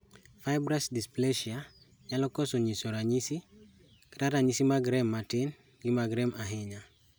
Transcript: Fibrous dysplasia nyalo koso nyiso ranyisi, kata ranyisi mag rem matin, gi mag rem ahinya